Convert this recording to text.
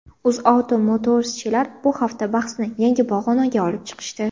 UzAuto Motors’chilar bu hafta bahsni yangi pog‘onaga olib chiqishdi.